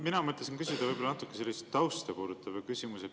Mina mõtlesin küsida võib-olla natuke sellise tausta puudutava küsimuse.